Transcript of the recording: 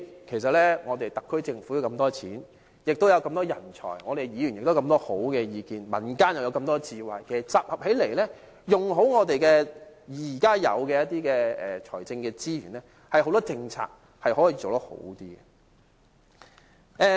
其實，特區政府坐擁大筆盈餘，有這麼多人才，議員亦提出很多好的意見，民間亦有這麼多智慧，其實集合起來，善用現有的財政資源，很多政策可以做得更好。